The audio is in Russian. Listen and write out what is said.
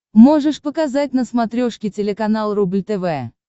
можешь показать на смотрешке телеканал рубль тв